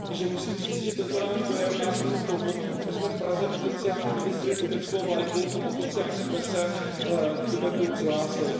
Takže musím říci, že tento náš dojem nás vedl k tomu, že jsme v Praze oficiálně vyvěsili tibetskou vlajku a oficiálně jsme se k Tibetu přihlásili.